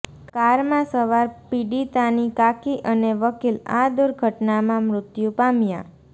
કારમાં સવાર પીડિતાની કાકી અને વકીલ આ દુર્ઘટનામાં મૃત્યુ પામ્યા